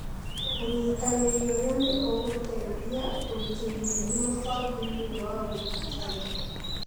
ũnyitanĩri ũyũ nĩ ũgũteithia gũĩkĩra hinya mũbango ũyũ wa ũrigitani.